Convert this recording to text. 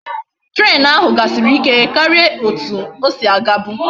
Train ahu gasiri ike karia etu osi aga bu